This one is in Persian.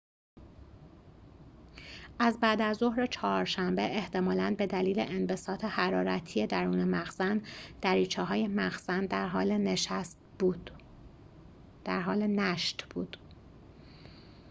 از بعدازظهر چهارشنبه احتمالاً به دلیل انبساط حرارتی درون مخزن دریچه‌های مخزن در حال نشت بود